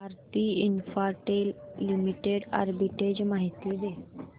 Bharti Infratel limited arbitrage माहिती दे